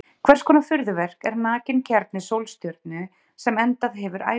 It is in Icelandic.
Hvers konar furðuverk er nakinn kjarni sólstjörnu sem endað hefur ævi sína?